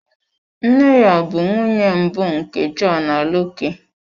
Nne ya bụ nwunye mbụ nke John Aloke.